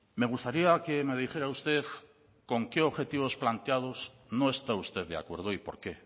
me gustaría que me dijera usted con qué objetivos planteados no está usted de acuerdo y por qué